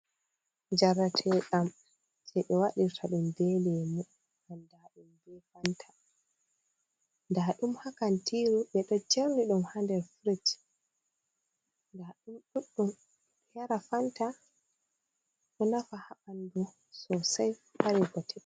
Njareteeɗam jei ɓe waɗirta ɗum be leemu andaaɗum be fanta. Nda ɗum ha kantiiru ɓe ɗo jeeri ɗum ha nder frij. Nda ɗum ɗuɗɗum. Yara fanta ɗo nafa ha ɓandu sosai, ɗo mari bote.